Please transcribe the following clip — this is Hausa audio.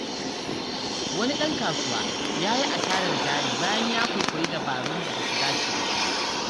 Wani ɗan kasuwa ya yi asarar jari bayan ya kwaikwayi dabarun da ba su dace da shi ba.